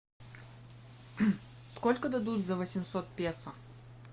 сколько дадут за восемьсот песо